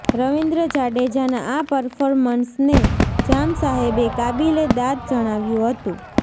રવિન્દ્ર જાડેજાના આ પરફોર્મન્સને જામસાહેબે કાબિલે દાદ જણાવ્યું હતું